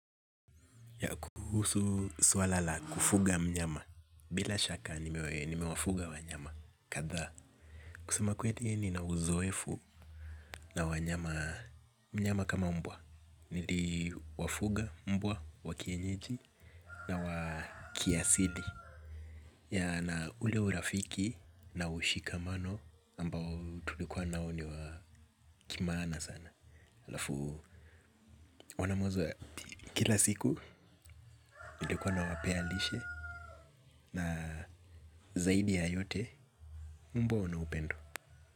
Ya kuhusu swala la kufuga mnyama bila shaka nimewafuga wanyama kadhaa. Kusema kweli nina uzoefu na wanyama mnyama kama mbwa niliwafuga mbwa wa kienyeji na wa kiasili ya na ule urafiki na ushikamano ambao tulikuwa nao ni wa kimaana sana halafu wana mozo ya kila siku nilikuwa nawapea lishe. Na zaidi ya yote mbwa wana upendo.